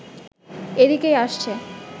এদিকেই আসছে